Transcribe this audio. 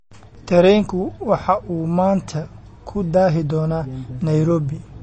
tareenku waxa uu maanta ku daahi doonaa nairobi